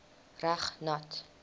reg nat